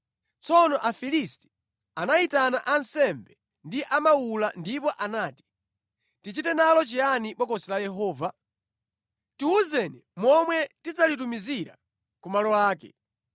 Tsono Afilisti anayitana ansembe ndi amawula ndipo anati, “Tichite nalo chiyani Bokosi la Yehova? Tiwuzeni momwe tidzalitumizira ku malo ake.”